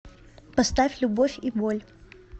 поставь любовь и боль